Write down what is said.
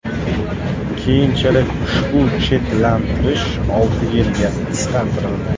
Keyinchalik ushbu chetlashtirish olti yilga qisqartirildi.